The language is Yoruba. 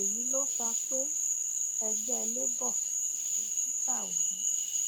èyí ló fà pé ẹgbẹ labour tí peter obi